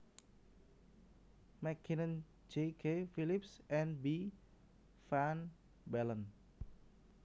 MacKinnon J K Phillipps and B van Balen